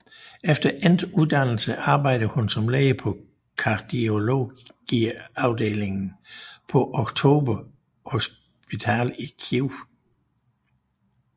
Efter endt uddannelse arbejdede hun som læge på kardiologiafdelingen på Oktober Hospital i Kyiv